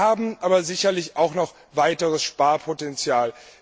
Wir verfügen aber sicherlich auch noch über weiteres Sparpotenzial.